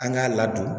An k'a ladon